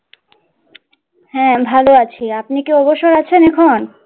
হ্যাঁ ভালো আছি আপনি কি অবসর আছেন এখন?